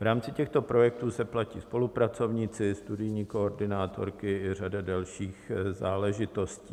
V rámci těchto projektů se platí spolupracovníci, studijní koordinátorky a řada dalších záležitostí.